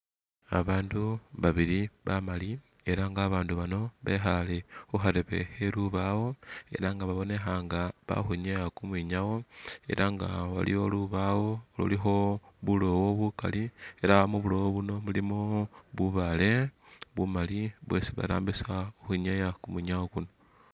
Babandu babili bamaali ela nga babandu bano bekhale khu khareebe khe lubaawo ela nga babonekha nga bakhwinyaya kumwinyawo ela nga waliwo lubaawo lulikho buloowo bukali ,ela mubuloowo buno mulimo bubaale bumali bwesi barambisa ukhwinyaya kumwinyawo kuno